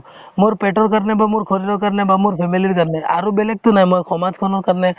মোৰ পেটৰ কাৰণে বা মোৰ ঘৰৰ কাৰণে বা মোৰ family ৰ কাৰণে আৰু বেলেগতো নাই মই সমাজখনৰ কাৰণে